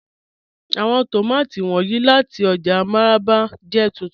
Àwọn tómátí wọnyí láti ọ́jà Mararaba jẹ́ túntún.